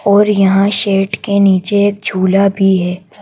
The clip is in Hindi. और यहां शर्ट के नीचे एक झूला भी है।